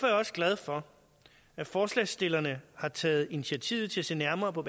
jeg også glad for at forslagsstillerne har taget initiativ til at se nærmere på